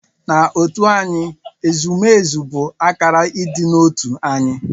N'otu anyị, ezumezu bụ akara ịdị n'otu anyị.